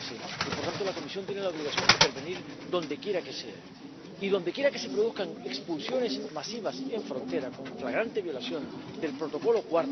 2013. Y, por lo tanto, la Comisión tiene la obligación de intervenir donde quiera que sea y donde quiera que se produzcan expulsiones masivas en frontera con flagrante violación del Protocolo n.º